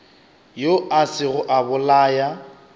yo a sego a bolaya